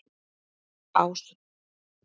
Ás